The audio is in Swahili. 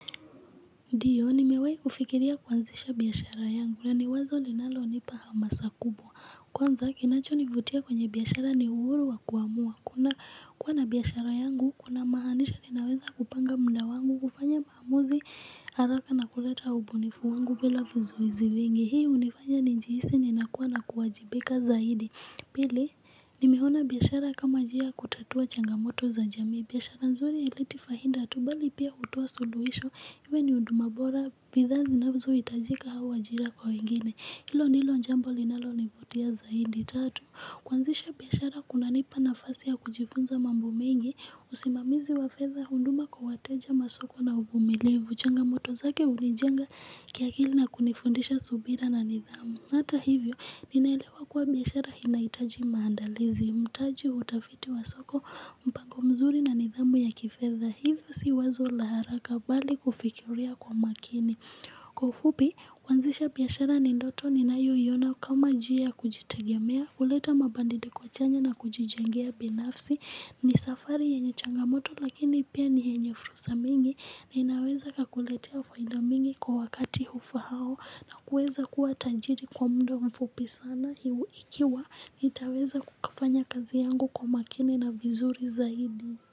Ndiyo, nimewai kufikiria kuanzisha biashara yangu, na ni wazo linalo nipa hamasa kubwa. Kwanza, kinacho nivutia kwenye biashara ni uhuru wa kuamua. Kuna kuwa na biashara yangu, kuna maanisha ninaweza kupanga muda wangu, kufanya maamuzi, haraka na kuleta ubunifu wangu bila vizuizi vingi. Hii hunifanya nijihisi ninakuwa na kuwajibika zaidi. Pili, nimeona biashara kama njia kutatua changamoto za jami. Biashara nzuri haileti faida tu bali pia hutoa suluhisho iwe ni huduma bora, bidhaa zinazohitajika au ajira kwa wengine. Hilo ndilo jambo linalonivutia zaidi. Tatu, kuanzisha biashara kunanipa nafasi ya kujifunza mambo mengi. Usimamizi wa fedha huduma kwa wateja masoko na uvumilivu changamoto zake hunijenga kiakili na kunifundisha subira na nidhamu. Hata hivyo, ninaelewa kuwa biashara inahitaji maandalizi. Mtaji utafiti wa soko mpango mzuri na nidhamu ya kifedha. Hivyo si wazo la haraka bali kufikiria kwa makini. Kwa ufupi, kwanzisha biashara ni ndoto ninayoiona kama njia ya kujitegemea kuleta mabadiliko chanya na kujijengia binafsi. Ni safari yenye changamoto lakini pia ni yenye furusa mingi. Na inaweza kakuletea faida mingi kwa wakati hufaao. Na kuweza kuwa tajiri kwa muda mfupi sana. Ikiwa nitaweza kukafanya kazi yangu kwa makini na vizuri zaidi.